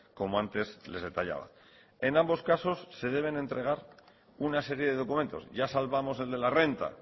como antes les detallaba en ambos casos se deben entregar una serie de documentos ya salvamos el de la renta